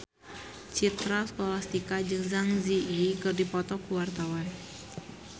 Citra Scholastika jeung Zang Zi Yi keur dipoto ku wartawan